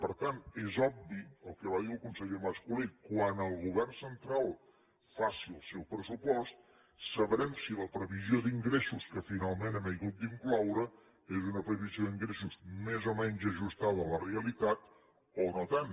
per tant és obvi el que va dir el conseller mas colell quan el govern central faci el seu pressupost sabrem si la previsió d’ingressos que finalment hem hagut d’incloure és una previsió d’ingressos més o menys ajustada a la realitat o no tant